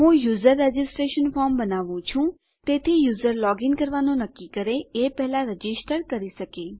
હું user registration form બનાવું છું તેથી યુઝર લોગીન કરવાનું નક્કી કરે એ પહેલા રજીસ્ટર કરી શકે